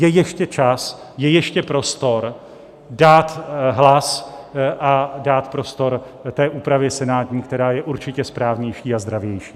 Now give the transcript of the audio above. Je ještě čas, je ještě prostor dát hlas a dát prostor té úpravě senátní, která je určitě správnější a zdravější.